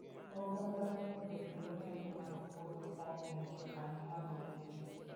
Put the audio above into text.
Oganda onego oyud olembe mag puodho koa kuom jokanyo mag bunge.